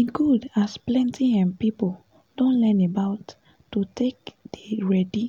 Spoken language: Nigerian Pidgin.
e good as plenty um people don learn about to take dey ready